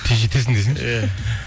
тез жетесің десеңші иә